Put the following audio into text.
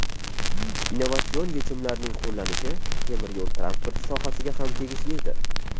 Innovatsion yechimlarning qo‘llanilishi temir yo‘l transporti sohasiga ham tegishlidir.